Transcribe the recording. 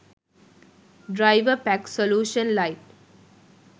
driverpack solution lite